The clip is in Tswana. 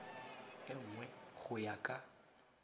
e nngwe go ya ka